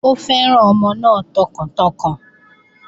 Ó fẹ́ràn ọmọ náà tọkàntọkàn